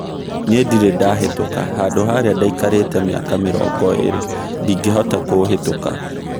Niĩ ndirĩ ndahĩtũka, handũ harĩa ndaikarĩte mĩaka mirongo iirĩ ndingĩhota kũũhĩtũka.